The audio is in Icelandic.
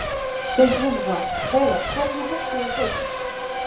Sindri Sindrason: Hreiðar, hvers vegna hættuð þið við kaupin?